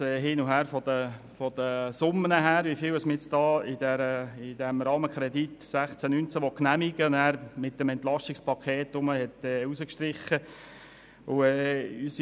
Es gab ein Hin und Her bezüglich der Summen, dahingehend, wie viel mit diesem Rahmenkredit 2016–2019 genehmigt werden soll, was mit dem EP gestrichen wurde.